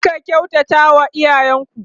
ku Rika kyautata wa iyayen ku